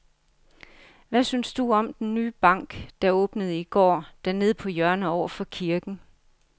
Hvad synes du om den nye bank, der åbnede i går dernede på hjørnet over for kirken?